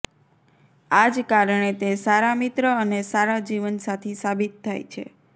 આજ કારણે તે સારા મિત્ર અને સારા જીવનસાથી સાબિત થાય છે